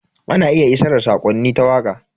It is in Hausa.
Ana iya isar da sakonni ta waka.